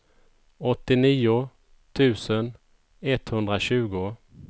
åttionio tusen etthundratjugo